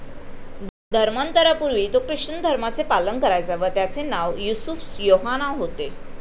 धर्मांतरापूर्वी तो ख्रिश्चन धर्माचे पालन करायचा व त्याचे नाव युसूफ योहाना होते.